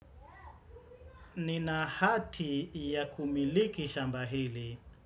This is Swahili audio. Nina haki ya kumiliki shamba hili.